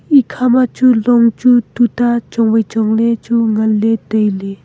ekha ma chu long chu tutta chong wai chongley chu nganle tailey.